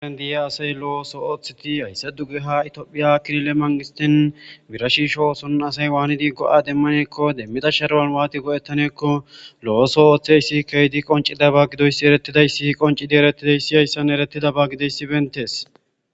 Nu diya asay lo'o so ooththeti haysse duggeha itiophiya kirile manqistin birashiisho oosonn asay waani diggo'a demmaneekko demmida sharuwan waati go'ettaneekko lo'oso ooththey si key di qoncida ba gidoyssi eretidayssi qoncidi erettidayssi hayssan erettida ba gideyssi bentees